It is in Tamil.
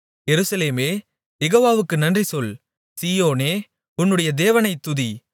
எருசலேமே யெகோவாவுக்கு நன்றி சொல் சீயோனே உன்னுடைய தேவனைத் துதி